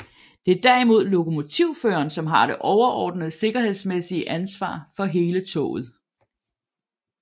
Det er derimod lokomotivføreren som har det overordnede sikkerhedsmæssige ansvar for hele toget